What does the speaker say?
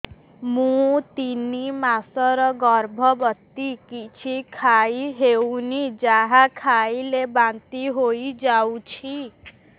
ମୁଁ ତିନି ମାସର ଗର୍ଭବତୀ କିଛି ଖାଇ ହେଉନି ଯାହା ଖାଇଲେ ବାନ୍ତି ହୋଇଯାଉଛି